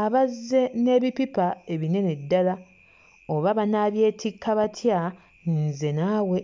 abazze n'ebipipa ebinene ddala, oba banaabyetikka batya, nze naawe.